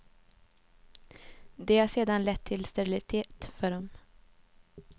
Det har sedan lett till sterilitet för dem.